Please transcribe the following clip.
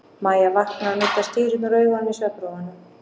Mæja vaknar og nuddar stýrurnar úr augunum í svefnrofunum.